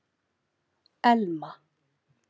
Elma